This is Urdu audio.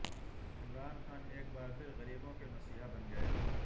عمران خان ایک بار پھر غریبوں کے مسیحا بن گئے